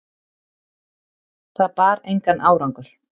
Það bar engan árangur.